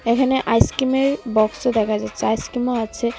এখানে আইসক্রিমের বক্সও দেখা যাচ্ছে আইসক্রিমও আছে .